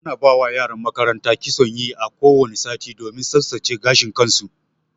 Ana ba wa yaran makaranta kitson yi a ko wani sati domin tsaftsace gashin su.